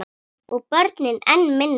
Og börnin enn minna.